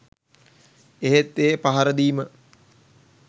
එහෙත් ඒ පහරදීම